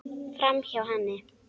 Framhjá henni.